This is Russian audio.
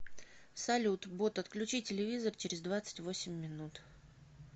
салют бот отключи телевизор через двадцать восемь минут